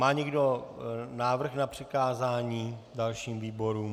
Má někdo návrh na přikázání dalším výborům?